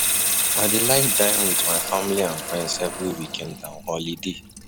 I dey like dine with my family and friends every weekend and holiday.